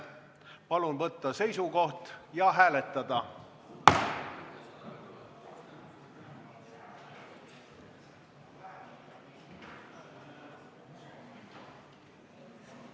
Palun võtta seisukoht ja hääletada!